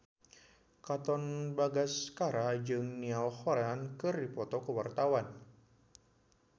Katon Bagaskara jeung Niall Horran keur dipoto ku wartawan